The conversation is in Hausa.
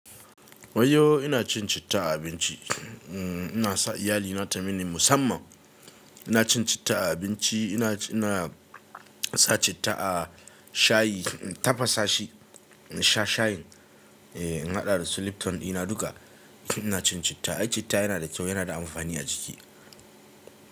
Waiyo ina cin citta a abinci, ina sa iyali na ta mini musamman. Ina cin citta a abinci, ina, ina sa citta a shayi, tafasa shi, in sha shayin. Eh, in haɗa da su slipton ɗina duka ina cin citta. Ai citta yana da kyau, yana da amfani a jiki.